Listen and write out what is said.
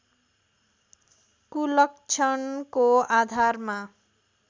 कुलक्षणको आधारमा